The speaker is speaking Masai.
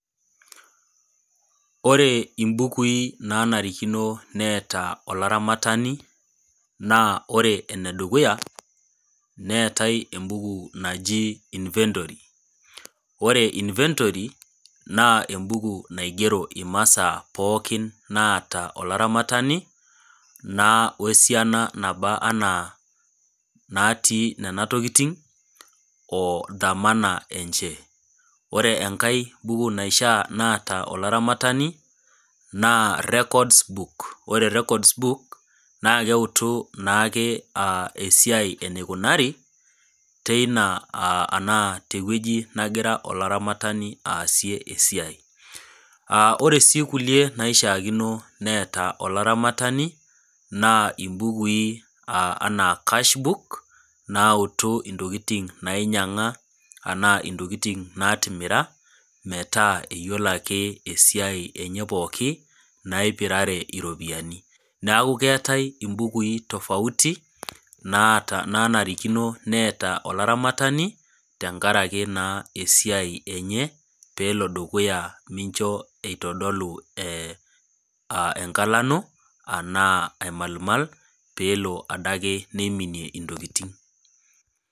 Ore imbukui nanarikino neeta olaramatani naa ore enedukuya neetai embuku naji  inventory. Ore inventory naa embuku naigero imasaa pookin naata olaramatani naa oesiana nabaa anaa natii nena tokitin o damana enche. Ore engai buku naishaa naata olaramatani naa records book. Ore records book naakeutu naake esiai eneikunari teina aah anaa tewueji nagira olaramatani aasie esiai. Aah ore sii kulie naishaakino neeta olaramatani naa imbukui anaa cashbook naautu intokitin nainyang'a anaa intokitin naatimira metaa eyiolo ake esiai enye pooki naipirare iropiani. Neaku keatai imbukui  tofauti naata nanarikino neeta olaramatani tengarake naa esiai enye peelo dukuya mincho eitodolu [eeh] engalano anaa aimalmal peelo adake neiminie intokitin.